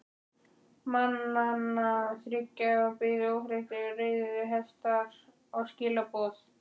Mannanna þriggja biðu óþreyttir reiðhestar og skilaboð.